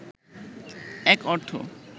এক অর্থ